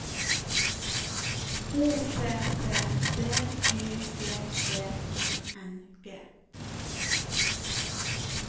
O P P B Y G G I N G